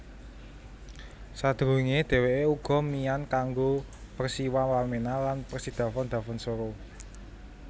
Sadurunge dheweke uga mian kanggo Persiwa Wamena lan Persidafon Dafonsoro